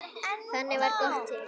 Þannig varð GOTT til.